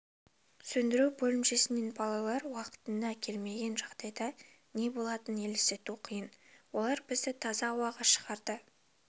сөндіру бөлімшесінен балалар уақытында келмеген жағдайда не болатынын елестету қиын олар бізді таза ауаға шығарды